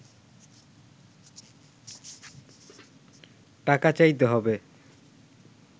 টাকা চাইতে হবে